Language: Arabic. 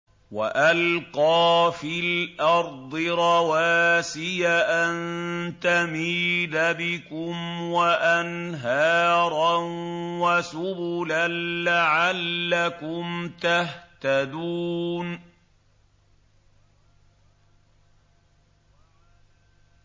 وَأَلْقَىٰ فِي الْأَرْضِ رَوَاسِيَ أَن تَمِيدَ بِكُمْ وَأَنْهَارًا وَسُبُلًا لَّعَلَّكُمْ تَهْتَدُونَ